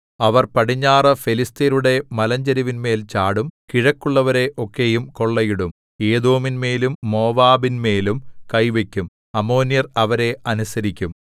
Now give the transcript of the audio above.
അവർ പടിഞ്ഞാറു ഫെലിസ്ത്യരുടെ മലഞ്ചരിവിന്മേൽ ചാടും കിഴക്കുള്ളവരെ ഒക്കെയും കൊള്ളയിടും ഏദോമിന്മേലും മോവാബിന്മേലും കൈവയ്ക്കും അമ്മോന്യർ അവരെ അനുസരിക്കും